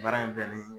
Baara in bɛnnen